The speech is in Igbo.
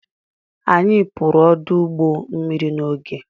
Anyị pụrụ ọdụ ụgbọ mmiri n'oge.